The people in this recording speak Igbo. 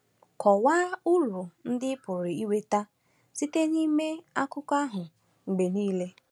Kọwaa uru ndị ị pụrụ inweta site n’ịmụ Akụkọ ahụ mgbe nile.